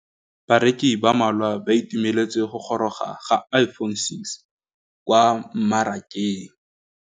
Bareki ba ba malwa ba ituemeletse go gôrôga ga Iphone6 kwa mmarakeng.